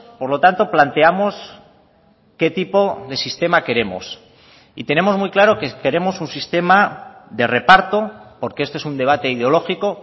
por lo tanto planteamos qué tipo de sistema queremos y tenemos muy claro que queremos un sistema de reparto porque esto es un debate ideológico